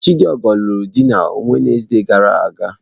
Chidigo lụrụ di na Wenezde gara aga.